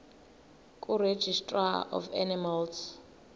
kuregistrar of animals